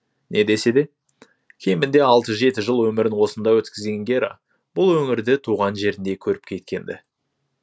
не десе де кемінде алты жеті жыл өмірін осында өткізген гера бұл өңірді туған жеріндей көріп кеткен ді